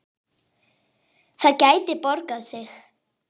Það gæti borgað sig.